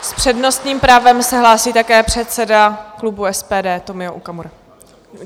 S přednostním právem se hlásí také předseda klubu SPD Tomio Okamura.